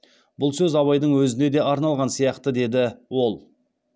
бұл сөз абайдың өзіне де арналған сияқты деді ол